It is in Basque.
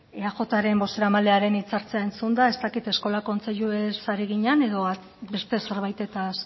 bueno eajren bozeramalearen hitzak entzunda ez dakit eskola kontseiluez ari ginen edo beste zerbaitetaz